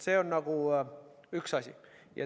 See on üks asi.